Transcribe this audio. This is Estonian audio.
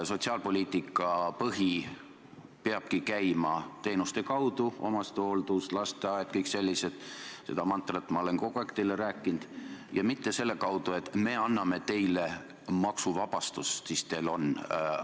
Sotsiaalpoliitika põhi peabki käima teenuste kaudu – omastehooldus, lasteaed, kõik sellised asjad –, seda mantrat ma olen kogu aeg teile rääkinud, ja mitte selle kaudu, et me anname teile maksuvabastust, siis teil on raha.